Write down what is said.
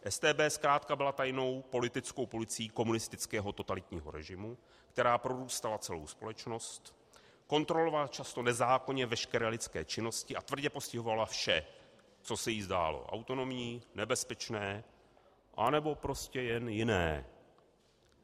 StB zkrátka byla tajnou politickou policií komunistického totalitního režimu, která prorůstala celou společnost, kontrolovala často nezákonně veškeré lidské činnosti a tvrdě postihovala vše, co se jí zdálo autonomní, nebezpečné, anebo prostě jen jiné.